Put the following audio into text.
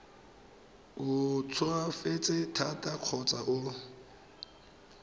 o tsofetse thata kgotsa o